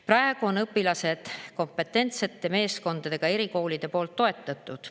Praegu on õpilased kompetentsete meeskondadega erikoolide poolt toetatud.